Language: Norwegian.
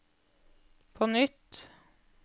på nytt